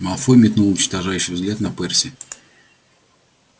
малфой метнул уничтожающий взгляд на перси